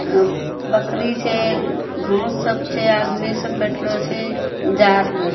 अ बकरी छै घांस सब छै। आदमी सब बेठलो छे। जारलो छ --